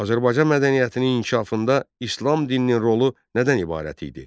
Azərbaycan mədəniyyətinin inkişafında İslam dininin rolu nədən ibarət idi?